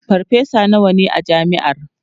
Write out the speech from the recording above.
farfesa nawa ne a jami'ar?